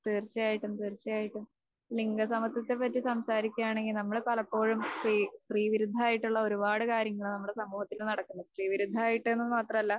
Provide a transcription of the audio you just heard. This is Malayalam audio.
തീർച്ചയായിട്ടും തീർച്ചയായിട്ടും. ലിംഗസമത്വത്തെപ്പറ്റി സംസാരിക്കുകയാണെങ്കിൽ നമ്മൾ പലപ്പോഴും സ്ത്രീവിരുദ്ധമായിട്ടുള്ള ഒരുപാട് കാര്യങ്ങള് നമ്മുടെ സമൂഹത്തിൽ നടക്കുന്നു. സ്ത്രീവിരുദ്ധമായിട്ട്ന്ന് മാത്രമല്ല